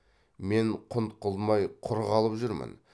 мен құнт қылмай құр қалып жүрмін